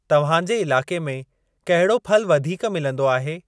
तव्हांजे इलाके में कहिड़ो फलु वधीक मिलंदो आहे?